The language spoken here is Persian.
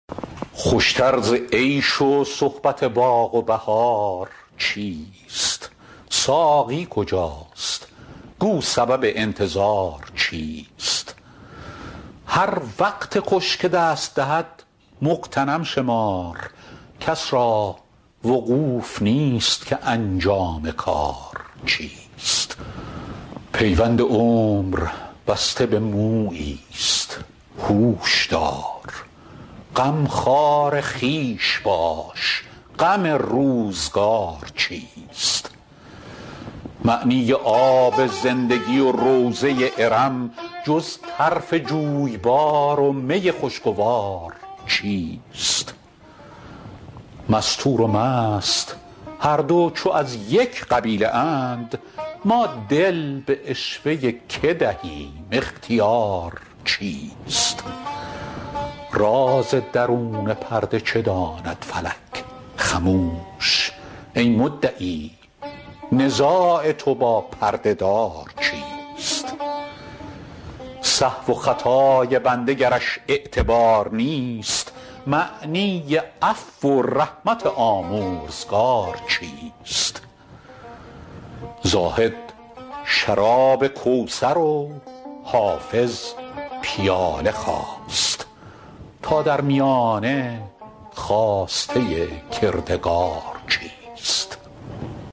خوش تر ز عیش و صحبت و باغ و بهار چیست ساقی کجاست گو سبب انتظار چیست هر وقت خوش که دست دهد مغتنم شمار کس را وقوف نیست که انجام کار چیست پیوند عمر بسته به مویی ست هوش دار غمخوار خویش باش غم روزگار چیست معنی آب زندگی و روضه ارم جز طرف جویبار و می خوشگوار چیست مستور و مست هر دو چو از یک قبیله اند ما دل به عشوه که دهیم اختیار چیست راز درون پرده چه داند فلک خموش ای مدعی نزاع تو با پرده دار چیست سهو و خطای بنده گرش اعتبار نیست معنی عفو و رحمت آمرزگار چیست زاهد شراب کوثر و حافظ پیاله خواست تا در میانه خواسته کردگار چیست